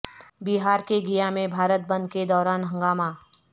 بہار کے گیا میں بھارت بند کے دوران ہنگامہ